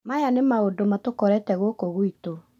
Maya nĩ maũndũ matũkorete gũkũ gwitũ